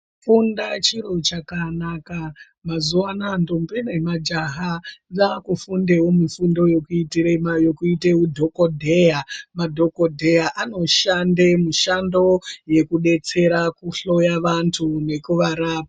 Kufunda chiro chakanaka mazuwa anaya ndombi nemajaha dzakufundao mifundo yekuita u dhokodheya. Madhokodheya anoshanda mushando yekudetsera kuhloya antu nekuvarapa.